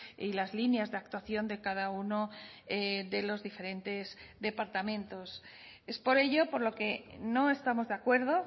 y las líneas de actuación de cada uno de los diferentes departamentos es por ello por lo que no estamos de acuerdo